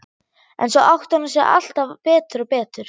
En svo áttar hún sig alltaf betur og betur.